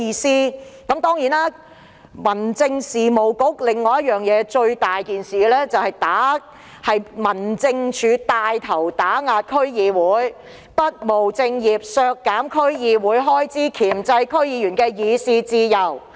此外，民政事務局最嚴重的問題就是帶頭打壓區議會，不務正業，削減區議會開支，箝制區議員的議事自由。